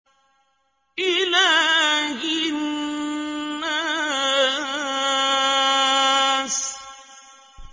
إِلَٰهِ النَّاسِ